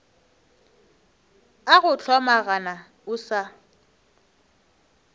a go hlomagana o sa